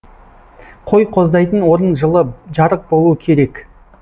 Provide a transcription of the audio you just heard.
қой қоздайтын орын жылы жарық болуы керек